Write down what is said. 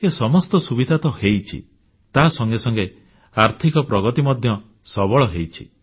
ଏ ସମସ୍ତ ସୁବିଧା ତ ହୋଇଛି ତା ସଙ୍ଗେ ସଙ୍ଗେ ଆର୍ଥିକ ପ୍ରଗତି ମଧ୍ୟ ସବଳ ହୋଇଛି